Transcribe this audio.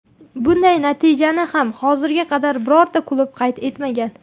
Bunday natijani ham hozirga qadar birorta klub qayd etmagan.